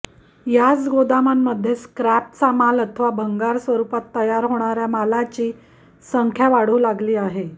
याच गोदामांमध्ये स्क्रॅपचा माल अथवा भंगार स्वरूपात तयार होणाऱ्या मालाची संख्या वाढू लागली आहे